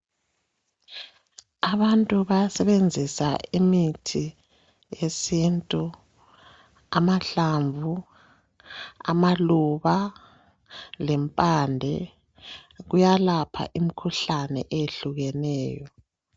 Abantu bayasebenzisa imithi yesintu. Amahlamvu, amaluba lempande kuyalapha imkhuhlane eyehlukeneyo.